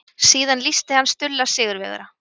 Síðan lýsti hann Stulla sigurvegara.